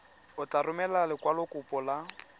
o tla romela lekwalokopo la